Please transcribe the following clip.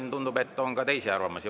Aga tundub, et on ka teisi arvamusi.